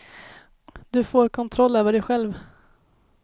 Du får kontroll över dig själv.